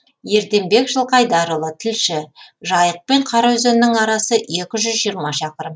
ерденбек жылқайдарұлы тілші жайық пен қараөзеннің арасы екі жүз жиырма шақырым